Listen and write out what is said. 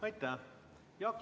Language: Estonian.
Aitäh!